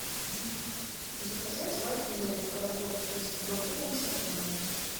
заказать вафельный рожок из макдональдса на дом